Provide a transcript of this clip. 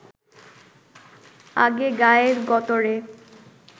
আগে গায়ে গতরে